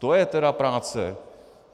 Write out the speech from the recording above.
To je tedy práce!